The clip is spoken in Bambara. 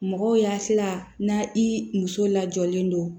Mɔgɔw y'a sela n'a i muso lajɔlen don